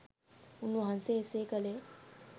උන්වහන්සේ එසේ කළේ